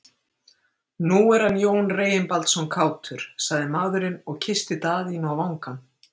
Nú er hann Jón Reginbaldsson kátur, sagði maðurinn og kyssti Daðínu á vangann.